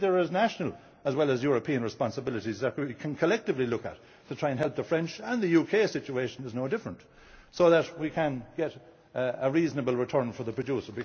farmer. Maybe there are national as well as European responsibilities that we can collectively look at to try and help the French and the UK situation is no different so that we can get a reasonable return for the producer.